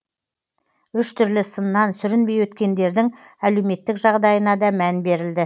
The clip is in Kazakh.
үш түрлі сыннан сүрінбей өткендердің әлеуметтік жағдайына да мән берілді